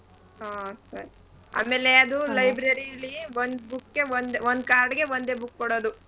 ಹಾ ಸರಿ. ಆಮೇಲೆ ಅದು library ಲಿ ಒಂದ್ book ಗೆ ಒಂದೆ ಒಂದ್ card ಗೆ ಒಂದೇ book ಕೊಡದು.